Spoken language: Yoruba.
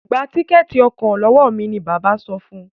Gbà Tíkẹ́ẹ̀tì ọkọ̀ lọwọ mí! ní bàbá rẹ sọfún.